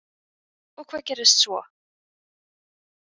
Og hvað gerðist svo?